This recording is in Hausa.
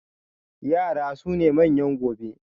Yara su ne manyan gobe